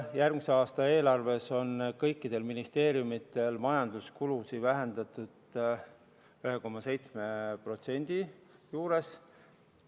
Järgmise aasta eelarves on kõikidel ministeeriumidel majanduskulusid vähendatud 1,7% juures.